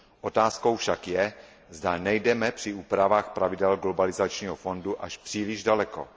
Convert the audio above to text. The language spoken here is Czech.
Otázkou však je, zda nejdeme při úpravách pravidel globalizačního fondu až příliš daleko.